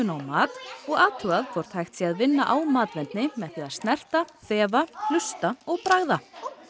á mat og athugað hvort hægt sé að vinna á matvendni með því að snerta þefa hlusta og bragða